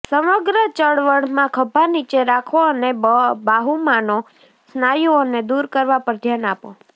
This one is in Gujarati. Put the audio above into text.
સમગ્ર ચળવળમાં ખભા નીચે રાખો અને બાહુમાંનો સ્નાયુઓને દુર કરવા પર ધ્યાન આપો